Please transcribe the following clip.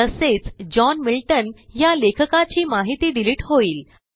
तसेच John Milton ह्या लेखकाची माहिती डिलिट होईल